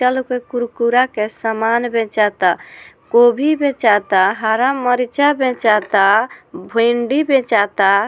चल ओकर कुरकुरा के सामान बेचता गोभी बेचाता हरा मर्चा बेचता भिंडी बेचता --